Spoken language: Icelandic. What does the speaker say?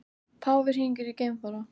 Páfi hringir í geimfara